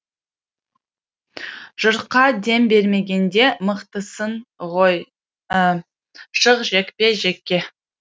жұртқа дем бермегенде мықтысын ғой шық жекпе жекке